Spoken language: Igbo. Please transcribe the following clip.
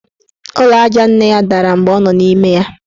Ụlọ aja nne ya dara mgbe ọ nọ n' ime ya.